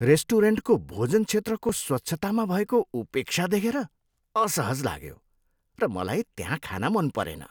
रेस्टुरेन्टको भोजन क्षेत्रको स्वच्छतामा भएको उपेक्षा देखेर असहज लाग्यो र मलाई त्यहाँ खान मन परेन।